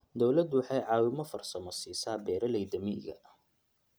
Dawladdu waxay caawimo farsamo siisaa beeralayda miyiga.